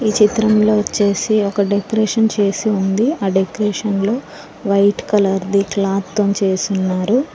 ఈ చిత్రం లో వచ్చేసి ఒక డెక్రేషన్ చేసి ఉంది ఆ డెక్రేషన్ లో వైట్ కలర్ ది క్లాత్ తోని చేసున్నారు.